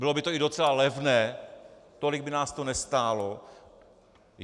Bylo by to i docela levné, tolik by nás to nestálo.